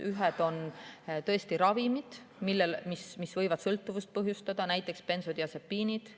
Üks teema on ravimid, mis võivad sõltuvust põhjustada, näiteks bensodiasepiinid.